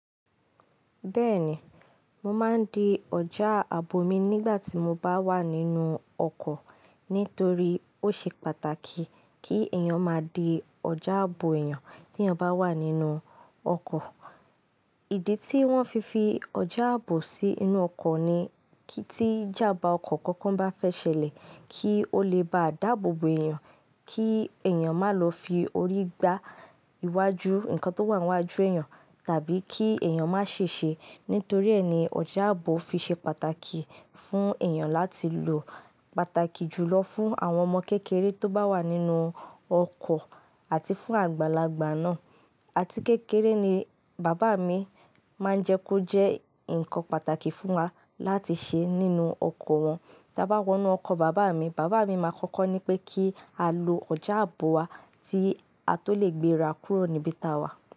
Bẹ́ẹ̀ni, mo máa ń di ọjà ààbò mi nígbà tí mo bá wà nínú ọkọ̀ nítorí ó ṣe pàtàkì kí èèyàn má di ọjà ààbò èèyàn tí èèyàn bá wà nínú ọkọ̀. Ìdí tí wọ́n fi fi ọjà ààbò sí inú ọkọ̀ ni kí tí jámbá ọkọ̀ kankan bá fẹ́ ṣẹlẹ̀, kí ó lè ba dàbòbò èèyàn, kí èèyàn má lọ fi orí gbá iwájú nǹkan tó wà níwájú èèyàn tàbí kí èèyàn má ṣèṣe. Nítorí ẹ́ ni ọjà ààbò fi ṣe pàtàkì fún èèyàn láti lò. Pàtàkì jùlọ fún àwọn ọmọ kékeré tó bá wà nínú ọkọ̀ àti fún àgbàlagbà náà. Àti kékeré ni bàbá mi máa ń jẹ́ kó jẹ́ ǹkan pàtàkì fún wa láti ṣe nínú ọkọ̀ wọn. Tí a bá wọ inú ọkọ̀ bàbá mi, bàbá mi máa kọ́kọ́ ní pé kí á lo ọjà ààbò wa tí a tó lè gbéra kúrò níbi táa wà.